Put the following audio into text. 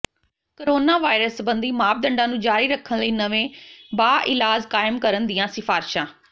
coronavirus ਸਬੰਧੀ ਮਾਪਦੰਡਾਂ ਨੂੰ ਜਾਰੀ ਰੱਖਣ ਲਈ ਨਵੇਂ ਬਾਇਲਾਅਜ਼ ਕਾਇਮ ਕਰਨ ਦੀਆਂ ਸਿਫਾਰਿਸ਼ਾਂ